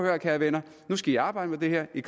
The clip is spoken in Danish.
her kære venner nu skal i arbejde med det her i